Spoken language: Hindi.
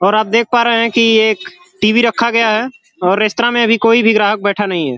और आप देख पा रहे कि एक टी.वी. रखा गया है और रेस्त्रा में अभी कोई भी ग्राहक बैठा नहीं है।